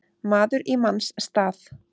Maður í manns stað